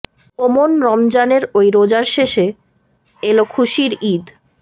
ও মন রমজানের ওই রোজার শেষে এল খুশির ঈদ